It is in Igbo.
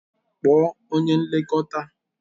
Kpọọ onye nlekọta.